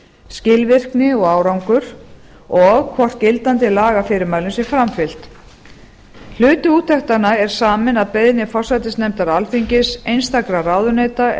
skilvirkni og árangur og hvort gildandi lagafyrirmælum sé framfylgt hluti úttektanna er saminn að beiðni forsætisnefndar alþingis einstakra ráðuneyta